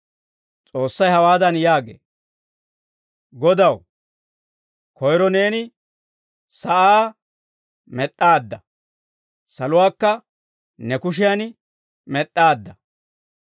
S'oossay hawaadan yaagee; «Godaw, koyro neeni sa'aa med'd'aadda; saluwaakka ne kushiyan med'd'aadda.